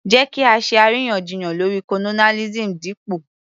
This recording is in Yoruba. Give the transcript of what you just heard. Jẹ́ kí á ṣe àríyànjiyàn lórí colonialism dípò